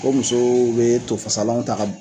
Ko musoo be to fasalanw ta ka b